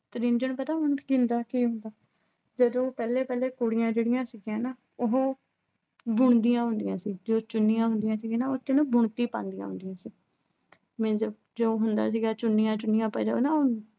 ਤ੍ਰਿੰਜਣ ਪਤਾ ਕੀ ਹੁੰਦਾ। ਜਦੋਂ ਪਹਿਲੇ ਪਹਿਲੇ ਕੁੜੀਆਂ ਜਿਹੜੀਆਂ ਸੀਗੀਆਂ ਨਾ ਅਹ ਉਹ ਬੁਣਦੀਆਂ ਹੁੰਦੀਆਂ ਸੀ। ਜੋ ਚੁੰਨੀਆਂ ਹੁੰਦੀਆਂ ਸੀਗੀਆਂ ਨਾ, ਉਹਤੇ ਨਾ ਬੁਣਤੀ ਪਾਉਂਦੀਆਂ ਹੁੰਦੀਆਂ ਸੀ।